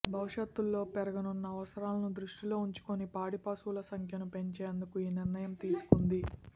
భవిష్యత్లో పెరగనున్న అవసరాలను దృష్టిలో ఉంచుకుని పాడిపశువుల సంఖ్యను పెంచేందుకు ఈ నిర్ణయం తీసుకుంది